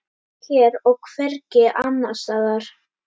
Hér og hvergi annars staðar.